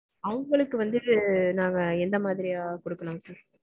அவங்களுக்கு வந்து நாங்க எந்த மாதிரியா கொடுக்கலாம் sir?